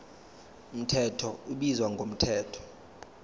mthetho ubizwa ngomthetho